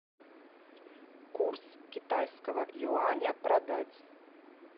курс китайского юаня продать